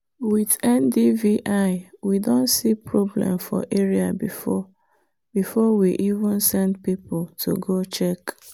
with ndvi we don see problem for area before we even send people to go check.